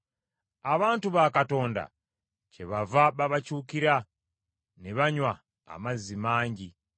Abantu ba Katonda kyebava babakyukira ne banywa amazzi mangi.